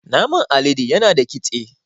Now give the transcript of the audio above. Naman alade yana da kitse